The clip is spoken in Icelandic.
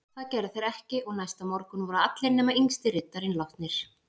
Það gerðu þeir ekki og næsta morgun voru allir nema yngsti riddarinn látnir.